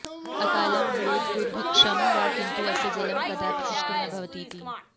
अकालं भवेत् दुर्भिक्षं वा किन्तु अस्य जलं कदापि शुष्कं न भवति इति